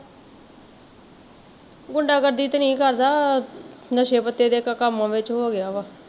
ਗੁੰਡਾਗਰਦੀ ਤੇ ਨਹੀਂ ਕਰਦਾ, ਨਸ਼ੇ ਪੱਤੇ ਤੇ ਕੰਮਾ ਵਿੱਚ ਹੋਗਿਆ ਵਾ